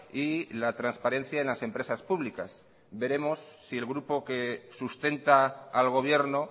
y la transparencia en las empresas públicas veremos si el grupo que sustenta al gobierno